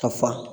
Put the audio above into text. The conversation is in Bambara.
Ka fa